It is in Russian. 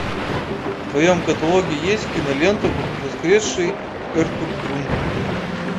в твоем каталоге есть кинолента воскресший эртугрул